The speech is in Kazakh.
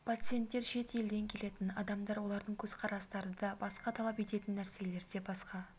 пациенттер шет елден келетін адамдар олардың көз қарастары да басқа талап ететін нәрселері де басқа